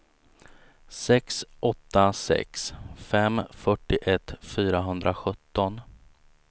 sex åtta sex fem fyrtioett fyrahundrasjutton